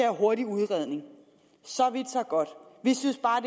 hurtig udredning så vidt så godt vi synes bare